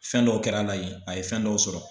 Fɛn dɔw kɛr'a la yen a ye fɛn dɔw sɔrɔ.